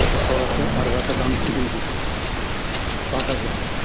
біз сол арқылы ары қарата дамытып кетеміз деді база жоқ